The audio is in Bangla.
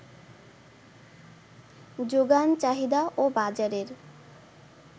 যোগান, চাহিদা ও বাজারের